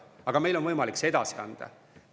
Aga meil on võimalik see edasi anda.